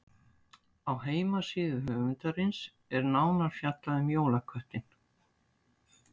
Á heimasíðu höfundarins er nánar fjallað um jólaköttinn.